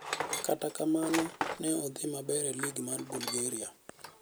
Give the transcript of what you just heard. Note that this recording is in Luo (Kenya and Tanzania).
kata kanmano ne odhi maber e lig mar Bulgaria